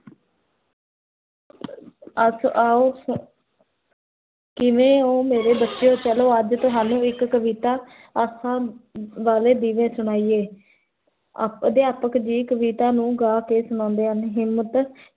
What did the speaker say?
ਅਖ ਆਓ ਕਿਵੇਂ ਹੋ ਮੇਰੇ ਬਚਿਓ, ਚਲੋ ਅੱਜ ਤੁਹਾਨੂੰ ਇਕ ਕਵਿਤਾ ਆਸਾ ਵਾਲੇ ਦੀਵੇ ਸੁਨਾਇਏ ਅਦਿਆਪਕ ਜੀ, ਕਵਿਤਾ ਨੂੰ ਗਾ ਕੇ ਸੁਨੋੰਦੇ ਹਨ ਹਿਮ੍ਮਤ